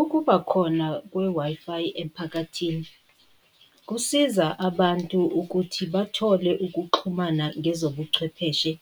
Ukubakhona kwe-Wi-Fi emphakathini, kusiza abantu ukuthi bathole ukuxhumana ngezobuchwepheshe